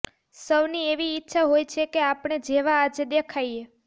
સૌની એવી ઇચ્છા હોય છે કે આપણે જેવા આજે દેખાઈએ